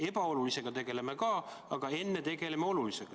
Ebaolulisega tegeleme ka, aga enne tegeleme olulisega.